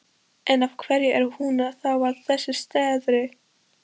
En, af hverju er hún þá að þessu streði?